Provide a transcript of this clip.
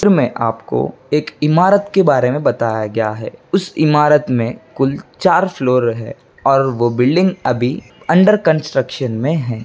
चित्र में आपको एक इमारत के बारे में बताया गया है उस इमारत में कुल चार फ्लोर है और वो बिल्डिंग अभी अंडर कंस्ट्रक्शन में है।